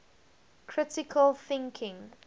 critical thinking